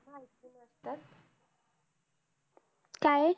काय